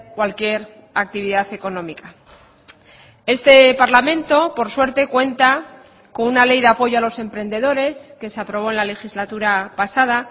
cualquier actividad económica este parlamento por suerte cuenta con una ley de apoyo a los emprendedores que se aprobó en la legislatura pasada